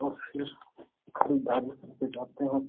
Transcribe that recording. और फिर खरीदारी कर के जाते हैं।